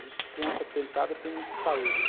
Dizem que criança tentada tem muita saúde, né?